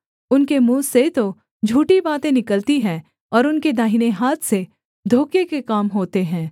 उनके मुँह से तो झूठी बातें निकलती हैं और उनके दाहिने हाथ से धोखे के काम होते हैं